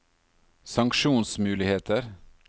sanksjonsmuligheter